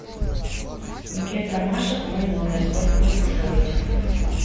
букет ромашек в мой номер сколько будет стоить